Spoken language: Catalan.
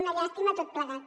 una llàstima tot plegat